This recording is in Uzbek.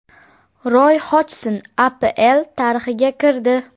Roy Hojson APL tarixiga kirdi.